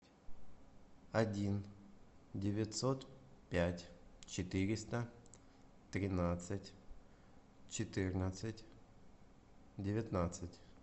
один девятьсот пять четыреста тринадцать четырнадцать девятнадцать